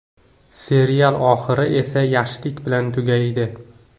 Serial oxiri esa yaxshilik bilan tugamaydi.